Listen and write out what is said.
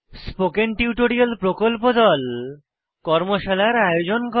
spoken tutorial প্রকল্প দল কর্মশালার আয়োজন করে